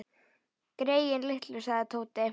Greyin litlu sagði Tóti.